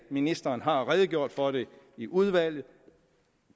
ministeren har redegjort for det i udvalget